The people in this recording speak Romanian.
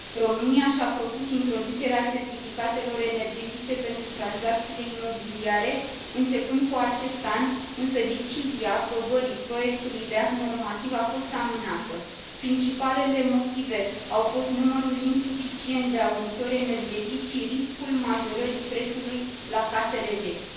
România și a propus introducerea certificatelor energetice pentru tranzacțiile imobiliare începând cu acest an, însă decizia aprobării proiectului de act normativ a fost amânată. Principalele motive au fost numărul insuficient de auditori energetici și riscul majorării prețului la casele vechi.